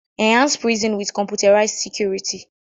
Enhance prison with computerized security